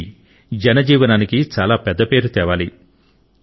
ఇవి జన జీవనానికి చాల పెద్ద పేరు తేవాలి